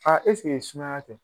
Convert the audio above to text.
ɛseke sumaya tɛ ?